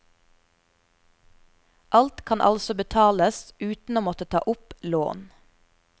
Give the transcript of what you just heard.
Alt kan altså betales uten å måtte ta opp lån.